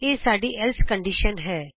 ਇਹ ਸਾਡੀ else condition ਹੈ